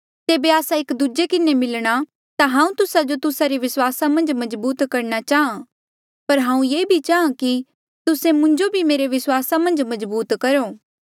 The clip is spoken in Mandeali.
जेबे आस्सा एक दूजे किन्हें मिलणा ता हांऊँ तुस्सा जो तुस्सा रे विस्वासा मन्झ मजबूत करणा चांहा पर हांऊँ ये भी चांहा कि तुस्से मुंजो भी मेरे विस्वासा मन्झ मजबूत करो